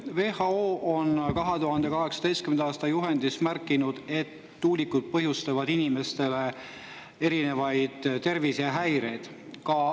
WHO on 2018. aasta juhendis märkinud, et tuulikud põhjustavad inimestele erinevaid tervisehäireid.